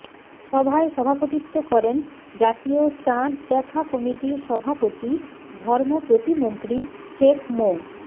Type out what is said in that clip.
সভায় সভাপতিত্ব করেন জাতীয় চাঁদ দেখা কমিটির সভাপতি ধর্ম প্রতিমন্ত্রী শেখ মো